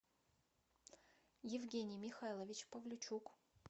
евгений михайлович павличук